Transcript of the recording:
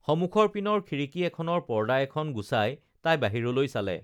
সমুখৰ পিনৰ খিড়িকী এখনৰ পৰ্দা এখন গুচাই তাই বাহিৰলৈ চালে